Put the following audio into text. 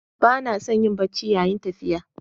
Ba na son yin barci yayin tafiya.